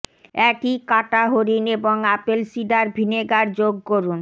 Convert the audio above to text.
একই কাঁটা হরিণ এবং আপেল সিডার ভিনেগার যোগ করুন